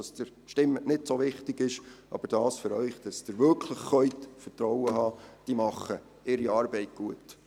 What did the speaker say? Was Sie abstimmen, ist am Ende nicht so wichtig, aber ich sage Ihnen, dass Sie wirklich vertrauen können, denn die Leute machen ihre Arbeit gut.